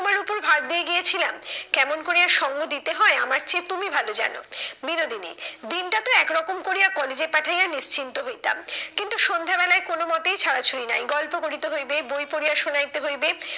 তোমার ওপর ভার দিয়ে গিয়েছিলাম, কেমন করিয়া সঙ্গ দিতে হয় আমার চেয়ে তুমি ভালো জানো। বিনোদিনী, দিনটা তো একরকম করিয়া কলেজে পাঠাইয়া নিশ্চিন্ত হইতাম, কিন্তু সন্ধে বেলায় কোনো মতেই ছাড়া ছুড়ি নাই, গল্প করিতে হইবে বই পড়িয়া সোনাইতে হইবে